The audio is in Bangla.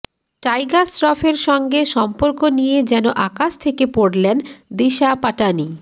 টাইগার শ্রফের সঙ্গে সম্পর্ক নিয়ে যেন আকাশ থেকে পড়লেন দিশা পাটানি